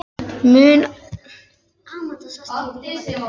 Mun alltaf eiga þau ein.